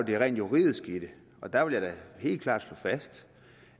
det rent juridiske i det og der vil jeg da helt klart slå fast